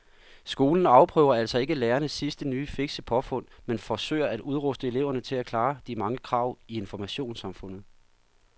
Skolen afprøver altså ikke lærernes sidste nye fikse påfund men forsøger at udruste eleverne til at klare de mange krav i informationssamfundet.